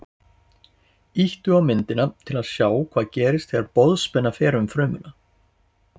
Ýttu á myndina til að sjá hvað gerist þegar boðspenna fer um frumuna.